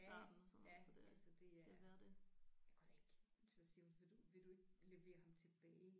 Ja ja altså det er jeg kunna da ikke så siger hun vil du vil du ikke levere ham tilbage